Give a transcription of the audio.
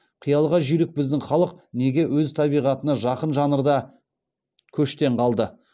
қиялға жүйрік біздің халық неге өз табиғатына жақын жанрда көштен қалды